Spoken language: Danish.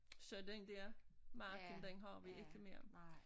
Så den dér marken den har vi ikke mere